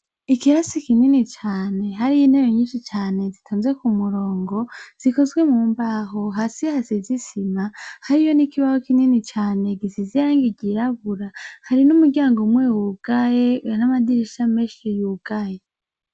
Ikirasi kinini cane. Hariyo intebe nyinshi cane zitonze k'umurongo, zikozwe mu mbaho. Hasi hasize isima hariyo ikibaho kinini cane gifise irangi ryirabura. Hari n'umuryango umwe wugaye, n'amadirisha menshi yugaye.